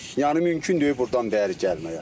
Yəni mümkün deyil burdan bəri gəlməyə.